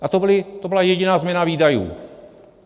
A to byla jediná změna výdajů.